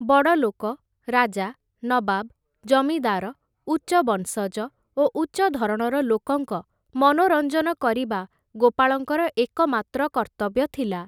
ବଡ଼ ଲୋକ, ରାଜା, ନବାବ୍, ଜମିଦାର, ଉଚ୍ଚ ବଂଶଜ ଓ ଉଚ୍ଚ ଧରଣର ଲୋକଙ୍କ ମନୋରଞ୍ଜନ କରିବା ଗୋପାଳଙ୍କର ଏକମାତ୍ର କର୍ତ୍ତବ୍ୟ ଥିଲା ।